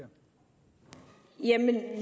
egentlig kan